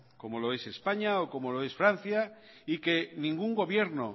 como lo es españa o como lo es francia y que ningún gobierno